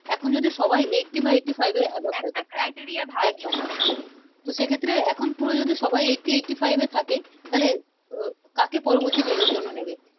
এখন যদি সবাই Eighty বা Eighty Five এর Avobe একটা criteria ভালো ছিলো একদম তো সেক্ষেত্রে এখন প্রয় যদি সবাই Eighty Eighty Five এ থাকে তাইলে আহ কাকে পরবর্তী জন্য নিবে